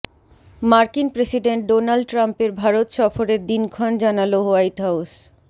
মার্কিন president Donald ট্রাম্পের ভারত সফরের দিনক্ষণ জানাল হোয়াইট হাউস